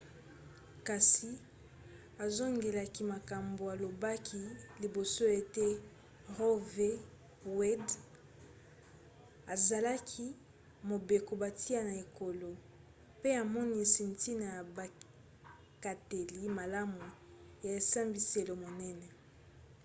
kasi azongelaki makambo alobaki liboso ete roe v. wade ezalaki mobeko batia na ekolo pe amonisi ntina ya bikateli malamu ya esambiselo monene